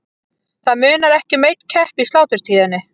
Það munar ekki um einn kepp í sláturtíðinni.